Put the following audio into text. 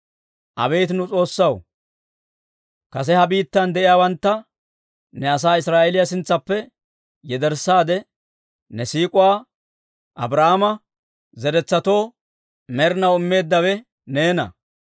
Abeet nu S'oossaw, kase ha biittan de'iyaawantta ne asaa Israa'eeliyaa sintsaappe yederssaade, ne siik'uwaa Abrahaama zeretsatoo med'inaw immeeddawe neena!